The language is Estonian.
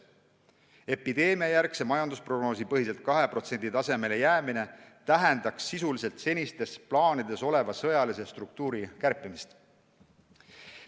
Epideemiajärgse majandusprognoosi põhiselt 2% tasemele jäämine tähendaks sisuliselt senistes plaanides oleva sõjalise struktuuri kärpimist.